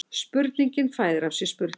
Spurningin fæðir af sér spurningar